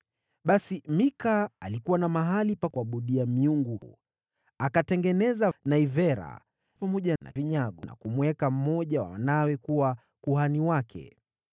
Basi Mika alikuwa na mahali pa kuabudia miungu, akatengeneza naivera, pamoja na vinyago, na kumweka mmoja wa wanawe kuwa kuhani wake.